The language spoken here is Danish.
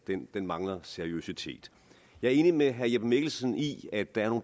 mangler seriøsitet jeg er enig med herre jeppe mikkelsen i at der